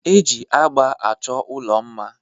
Eji agba achọ ụlọ mma.